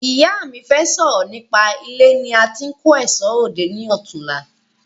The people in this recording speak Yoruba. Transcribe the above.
Ìyá mí fẹ sọ̀rọ̀ nípa ilé ní a tí ń kò èṣọ́ ròde ni ọ̀túnla